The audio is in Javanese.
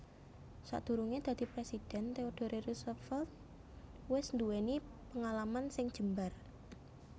Sadurungé dadi presidhèn Theodore Roosevelt wis nduwèni pengalaman sing jembar